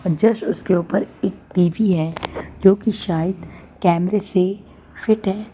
Just उसके ऊपर एक टी_भी है जो कि शायद कैमरे से फिट है।